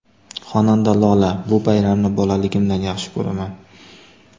Xonanda Lola: Bu bayramni bolaligimdan yaxshi ko‘raman!.